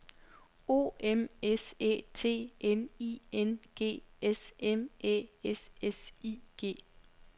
O M S Æ T N I N G S M Æ S S I G